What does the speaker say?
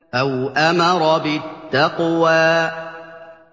أَوْ أَمَرَ بِالتَّقْوَىٰ